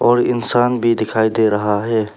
और इंसान भी दिखाई दे रहा है।